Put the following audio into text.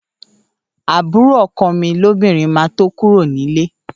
Àbúrò ọkọ mi lóbìnrin máa tó kúrò ní líle